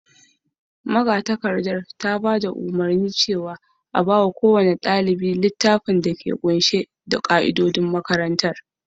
magatakarda ce ta bada umarni a ba kowace dalibi takardan ka'idojin makaranta